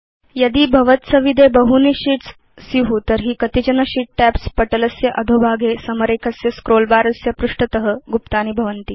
यदि भवत्सविधे बहूनि शीट्स् भवन्ति तर्हि कतिचन शीत् टैब्स् पटलस्य अधोभागे समरेखस्य स्क्रोल बर स्य पृष्ठत गुप्तानि भवन्ति